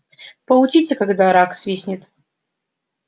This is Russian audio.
получите когда рак свистнет